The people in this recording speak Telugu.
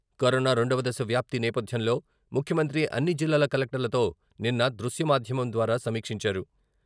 కరోనా రెండవ దశ వ్యాప్తి నేపద్యంలో ముఖ్యమంత్రి అన్ని జిల్లాల కలెక్టర్ల తో నిన్న దృశ్య మాధ్యమం ద్వారా సమీక్షించారు.